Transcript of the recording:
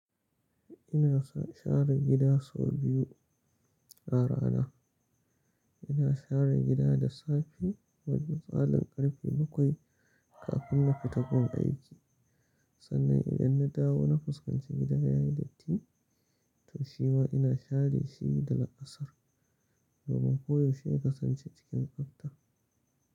Ina share gida sau biyu a rana. Ina share gida da safe wajen misalin ƙarfe bakwai kafin na fita gun aiki. Sannan idan na dawo na fuskance gida yayi datti to shima ina share shi daga ƙasar domin koyaushe kasance cikin tsabta.